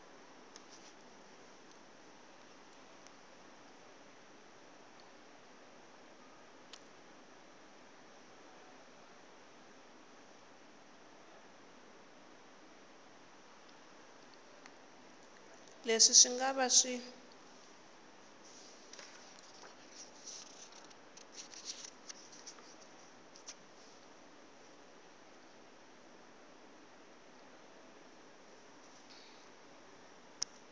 leswi swi nga va swi